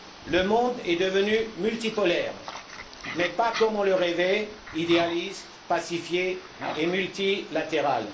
Le monde est devenu multipolaire, mais pas comme on le rêvait idéaliste, pacifié et multilatéral.